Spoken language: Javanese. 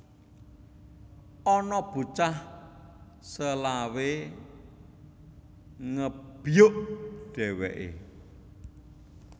Ana bocah selawe ngebyuk dheweke